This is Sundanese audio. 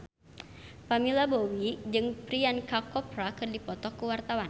Pamela Bowie jeung Priyanka Chopra keur dipoto ku wartawan